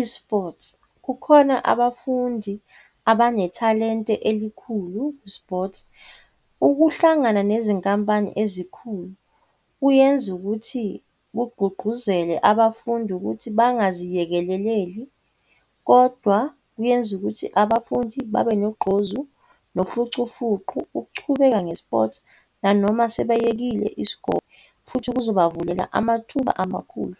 i-sports. Kukhona abafundi abanethalente elikhulu ku-sports. Ukuhlangana nezinkampani ezikhulu kuyenza ukuthi kugqugquzele abafundi ukuthi bangaziyekeleleli, kodwa kuyenza ukuthi abafundi babe nogqozu nofucufuqu ukuchubeka nge-sports nanoma sebeyekile isikole, futhi kuzobavulela amathuba amakhulu.